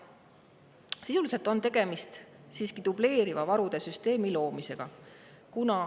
Sisuliselt on tegemist dubleeriva varude süsteemi loomisega.